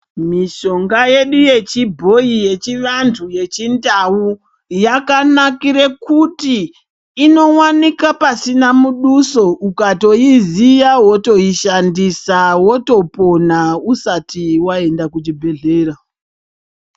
Mishonga yedu yechibhoyi yechivantu yechindau, yakanakire kuti, inowanika pasina muduso, ukatoiziya wotoishandisa, wotopona, usati waenda kuchibhedhlera.